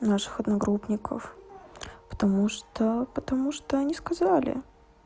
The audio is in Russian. наших одногруппников потому что потому что они сказали